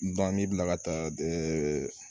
n'i bilala ka taa